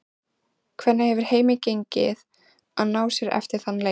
Hvernig hefur heimi gengið að ná sér eftir þann leik?